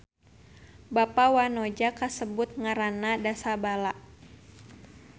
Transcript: Bapa wanoja kasebut ngaranna Dasabala.